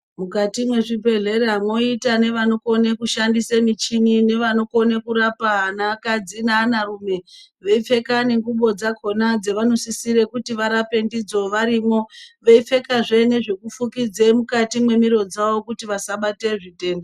Mukati mezvibhedhera moite nevanogone kushandisa michini nevanogone kurapa anakadzi neanarume, veipfeka nenguwo dzakona dzanosisire kuti varape ndidzo varimo, veipfekazve nezvekufukidze mukati memiro dzavo kuti vasabate zvitenda.